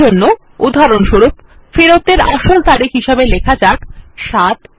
এরজন্য উদাহরণস্বরূপ ফেরত এর আসল তারিখ হিসাবে লেখা যাক ৭৭১১